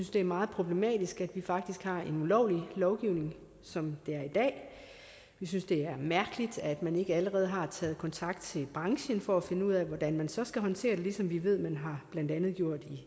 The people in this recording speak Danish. det er meget problematisk at vi faktisk har en ulovlig lovgivning som det er i dag vi synes det er mærkeligt at man ikke allerede har taget kontakt til branchen for at finde ud af hvordan man så skal håndtere det ligesom vi ved man blandt andet